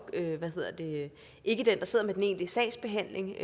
ikke den der sidder med den egentlige sagsbehandling